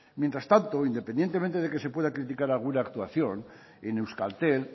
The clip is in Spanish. mientras tanto independientemente de que se pueda criticar alguna actuación en euskaltel